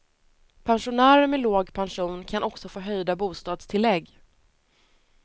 Pensionärer med låg pension kan också få höjda bostadstillägg.